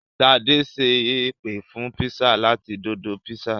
Ṣadé ṣe ìpè fún pizza láti Dodo pizza.